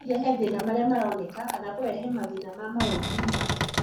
no ĩrehe mathĩna maria maroneka kana kũrehe mathĩna ma mawoigwi make.